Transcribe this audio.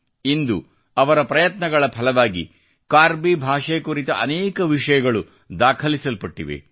ಮತ್ತು ಇಂದು ಅವರ ಪ್ರಯತ್ನಗಳ ಫಲವಾಗಿ ಕಾರ್ಬಿ ಭಾಷೆಕುರಿತ ಅನೇಕ ವಿಷಯಗಳು ದಾಖಲಿಸಲ್ಪಟ್ಟಿದೆ